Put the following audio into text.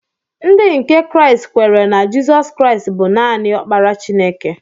Ndị nke Kraịst kweere na Jizọs Kraịst bụ naanị Ọkpara Chineke.